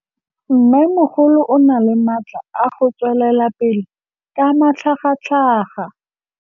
Mmêmogolo o na le matla a go tswelela pele ka matlhagatlhaga.